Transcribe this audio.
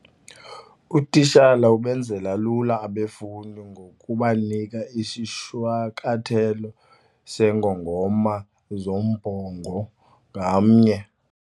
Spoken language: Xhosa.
Utitshala ubenzele lula abafundi ngokubanika isishwankathelo seengongoma zombongo ngamnye.